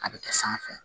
A bɛ kɛ sanfɛ